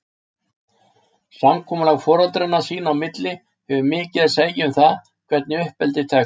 Samkomulag foreldranna sín á milli hefur mikið að segja um það, hvernig uppeldið tekst.